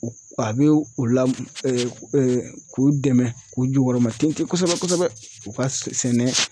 A bɛ u la k'u dɛmɛn k'u jukɔrɔmatintin kosɛbɛ kosɛbɛ u ka sɛnɛ